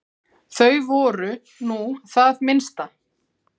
Þau voru nú það minnsta.